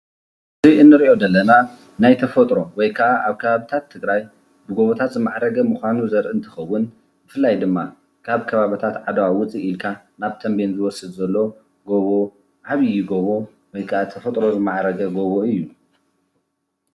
እዚ እንሪኦ ዘለና ናይ ተፈጥሮ ወይ ከዓ አብ ከባቢታት ትግራይ ብጎቦታት ዝማዕረገ ምኳኑ ዘርኢ እንትኸውን፤ ብፍላይ ድማ ካብ ከባቢታት ዓድዋ ውፅእ ኢልካ ናብ ተንቤን ዘውፅእ ዘሎ ጎቦ ዓብይ ጎቦ ወይ ከዓ ተፈጥሮ ዝማዕረገ ጎቦ እዩ፡፡